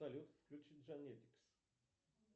салют включи джайнетикс